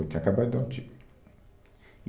Ele tinha acabado de dar um tiro.